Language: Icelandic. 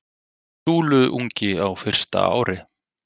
Súluungi á fyrsta ári.